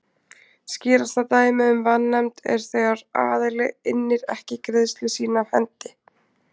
Skýrasta dæmið um vanefnd er þegar aðili innir ekki greiðslu sína af hendi.